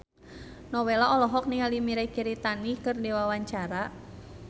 Nowela olohok ningali Mirei Kiritani keur diwawancara